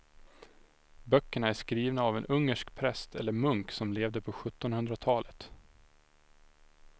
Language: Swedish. Böckerna är skrivna av en ungersk präst eller munk som levde på sjuttonhundratalet.